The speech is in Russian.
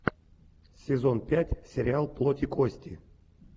сезон пять сериал плоть и кости